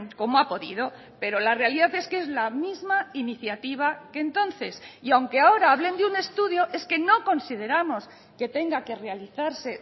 como ha podido pero la realidad es que es la misma iniciativa que entonces y aunque ahora hablen de un estudio es que no consideramos que tenga que realizarse